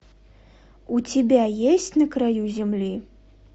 у тебя есть на краю земли